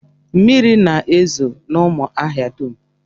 Mmiri na-ezo n'ụmụahia dum